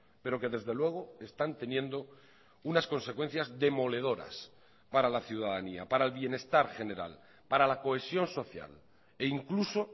pero que desde luego están teniendo unas consecuencias demoledoras para la ciudadanía para el bienestar general para la cohesión social e incluso